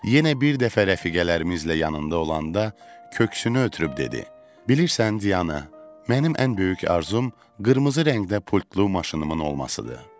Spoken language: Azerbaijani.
Yenə bir dəfə rəfiqələrimizlə yanında olanda köksünü ötürüb dedi: Bilirsən, Diana, mənim ən böyük arzum qırmızı rəngdə pultlu maşınımın olmasıdır.